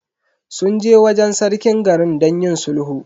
Sun je wajen Sarkin garin don yin sulhu.